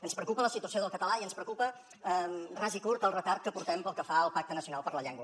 ens preocupa la situació del català i ens preocupa ras i curt el retard que portem pel que fa al pacte nacional per la llengua